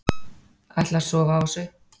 Ætla að sofa á þessu